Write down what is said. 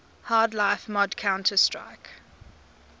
half life mod counter strike